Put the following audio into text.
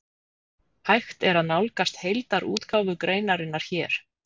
Hægt er að nálgast heildarútgáfu greinarinnar hér.